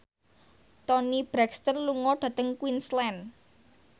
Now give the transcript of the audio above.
Toni Brexton lunga dhateng Queensland